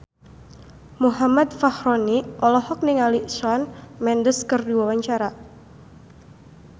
Muhammad Fachroni olohok ningali Shawn Mendes keur diwawancara